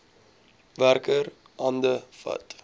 werker hande vat